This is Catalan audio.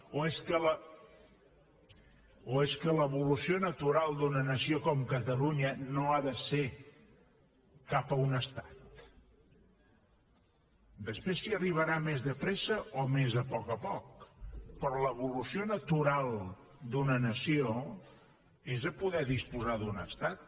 o és que l’evolució natural d’una nació com catalunya no ha de ser cap a un estat després s’hi arribarà més de pressa o més a poc a poc però l’evolució natural d’una nació és de poder disposar d’un estat